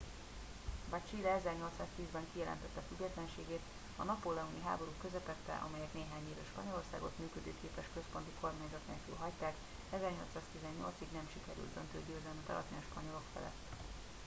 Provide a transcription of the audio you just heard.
bár chile 1810-ben kijelentette függetlenségét a napóleoni háborúk közepette amelyek néhány évre spanyolországot működőképes központi kormányzat nélkül hagyták 1818-ig nem sikerült döntő győzelmet aratni a spanyolok felett